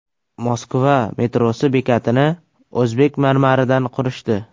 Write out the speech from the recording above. Moskva metrosi bekatini o‘zbek marmaridan qurishdi.